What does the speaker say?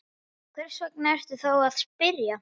Og hvers vegna ertu þá að spyrja?